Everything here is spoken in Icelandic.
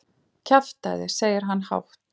Kjaftæði, segir hann hátt.